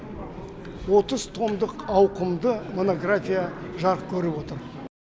отыз томдық ауқымды монография жарық көріп отыр